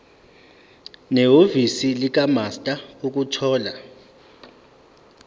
nehhovisi likamaster ukuthola